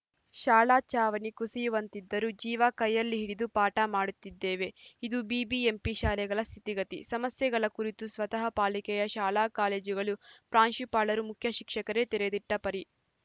ಶಾಲಾ ಚಾವಣಿ ಕುಸಿಯುವಂತಿದ್ದರೂ ಜೀವ ಕೈಯಲ್ಲಿ ಹಿಡಿದು ಪಾಠ ಮಾಡುತ್ತಿದ್ದೇವೆ ಇದು ಬಿಬಿಎಂಪಿ ಶಾಲೆಗಳ ಸ್ಥಿತಿಗತಿ ಸಮಸ್ಯೆಗಳ ಕುರಿತು ಸ್ವತಃ ಪಾಲಿಕೆಯ ಶಾಲಾಕಾಲೇಜುಗಳ ಪ್ರಾಂಶುಪಾಲರು ಮುಖ್ಯಶಿಕ್ಷಕರೇ ತೆರೆದಿಟ್ಟಪರಿ